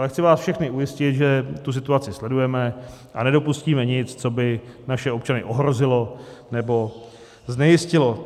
Ale chci vás všechny ujistit, že tu situaci sledujeme a nedopustíme nic, co by naše občany ohrozilo nebo znejistilo.